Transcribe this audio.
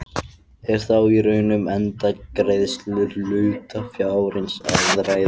Er þá í raun um endurgreiðslu hlutafjárins að ræða.